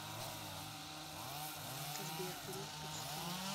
сбер греф впечатляет